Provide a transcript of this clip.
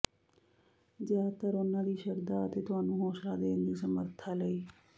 ਜ਼ਿਆਦਾਤਰ ਉਨ੍ਹਾਂ ਦੀ ਸ਼ਰਧਾ ਅਤੇ ਤੁਹਾਨੂੰ ਹੌਸਲਾ ਦੇਣ ਦੀ ਸਮਰੱਥਾ ਲਈ